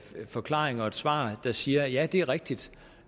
forklaring og et svar der siger ja det er rigtigt